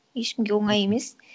ешкімге оңай емес